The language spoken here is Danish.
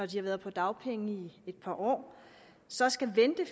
de har været på dagpenge i et par år så skal vente i